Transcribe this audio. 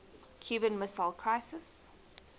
cuban missile crisis